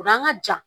O an ka ja